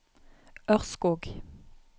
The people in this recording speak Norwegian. Ørskog